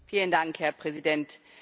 Vielen Dank, Herr Präsident!